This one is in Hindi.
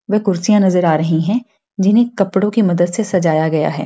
दो कुर्सियाँ नजर आ रही है जिन्हे कपड़ो की मदद से सजाया गया है।